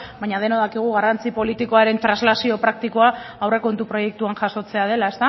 baina denok dakigu garrantzi politikoaren translazio praktikoa aurrekontu proiektuan jasotzea dela